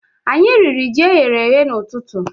Anyi riri ji eyere èyé n'ututu